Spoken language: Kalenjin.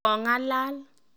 Kong'alal.